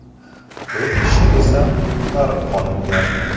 To‘rt kishi esa qutqarib qolingan.